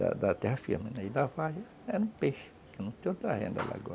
Da da terra firme e da Vale, é no peixe, que não tem outra renda lá agora.